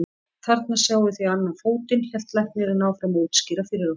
Þarna sjáið þið annan fótinn, hélt læknirinn áfram að útskýra fyrir okkur.